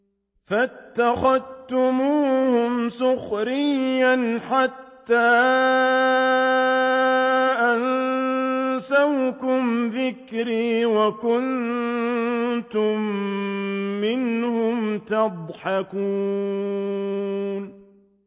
فَاتَّخَذْتُمُوهُمْ سِخْرِيًّا حَتَّىٰ أَنسَوْكُمْ ذِكْرِي وَكُنتُم مِّنْهُمْ تَضْحَكُونَ